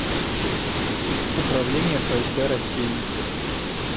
управление фсб россии